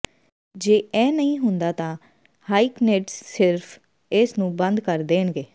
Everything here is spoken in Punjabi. ਜੇ ਇਹ ਨਹੀਂ ਹੁੰਦਾ ਤਾਂ ਹਾਇਕਨਿਥਜ਼ ਸਿਰਫ਼ ਇਸ ਨੂੰ ਬੰਦ ਕਰ ਦੇਣਗੇ